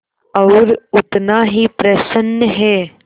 और उतना ही प्रसन्न है